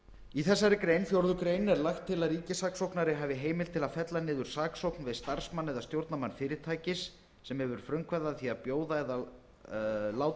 í þessari grein fjórðu grein er lagt til að ríkissaksóknari hafi heimild til þess að fella niður saksókn við starfsmann eða stjórnarmann fyrirtækis sem hefur frumkvæði að því að bjóða eða láta